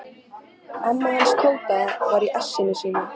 Amma hans Tóta var í essinu sínu.